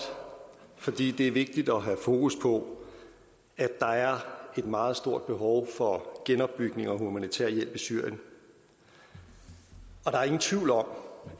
fordi det er vigtigt at have fokus på at der er et meget stort behov for genopbygning og humanitær hjælp i syrien der er ingen tvivl om